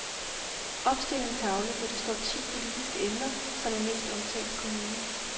Opstil en tavle, hvor der står ti politiske emner, som er mest omtalt i kommunen.